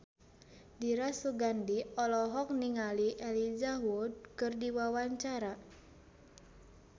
Dira Sugandi olohok ningali Elijah Wood keur diwawancara